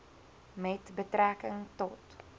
met betrekking tot